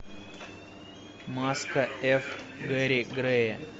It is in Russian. маска эф гери грея